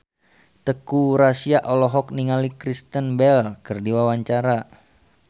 Teuku Rassya olohok ningali Kristen Bell keur diwawancara